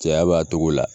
Cɛya b'a togo la